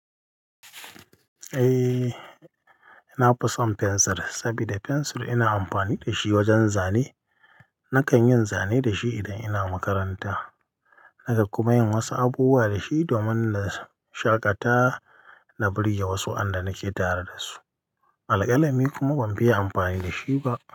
Eh, na fison fensir saboda fensir ina amfani da shi wajen zane. Nakan yin zane da shi idan ina makaranta. Nakan kuma yin wasu abubuwa da shi domin na shaƙata na birge wasu wayanda nake tare da su. Alƙalami kuma ban fiye amfani da shi ba.